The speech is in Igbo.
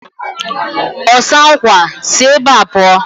Ọsa nkwa! Si ebea pụọ!